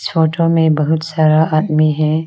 Photo में बहुत सारा आदमी है।